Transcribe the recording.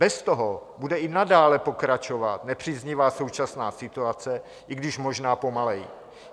Bez toho bude i nadále pokračovat nepříznivá současná situace, i když možná pomaleji.